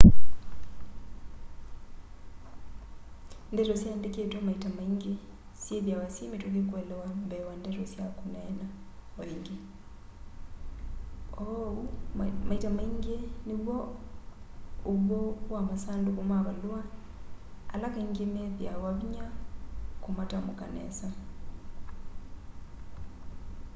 ndeto siandikitwe maita maingi syithiawa syi mituki kuelewa mbee wa ndeto sya kuneena o ingi uu maita maingi niw'o uw'o wa masanduku ma valua ala kaingi methiawa vinya kumatamuka nesa